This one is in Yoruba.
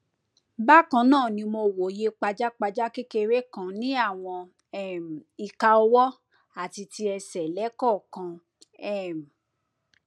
bákan náà ni mo wòye pajápajá kékeré kan ní àwọn um ìka ọwọ àti ti ẹsẹ lẹẹkọọkan um